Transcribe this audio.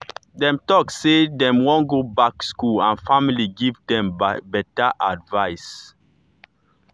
dem talk say dem wan go back school and family give them better advice.